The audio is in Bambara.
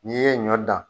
N'i ye ɲɔ dan